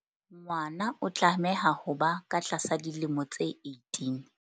Ngwana o tlameha ho ba ka tlasa dilemo tse 18.